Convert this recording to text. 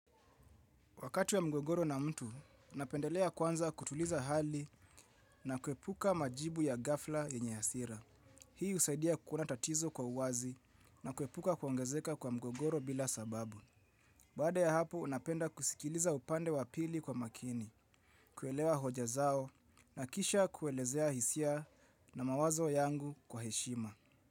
Wakati wa mgogoro na mtu, napendelea kwanza kutuliza hali na kuepuka majibu ya ghafla yenye hasira. Hii husaidia kuona tatizo kwa uwazi na kuepuka kuongezeka kwa mgogoro bila sababu. Baada ya hapo napenda kusikiliza upande wa pili kwa makini, kuelewa hoja zao na kisha kuelezea hisia na mawazo yangu kwa heshima.